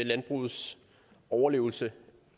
landbrugets overlevelse